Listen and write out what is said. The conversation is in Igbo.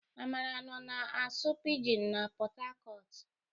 Amara nọ na-asụ pijin n'Pot Tarcot.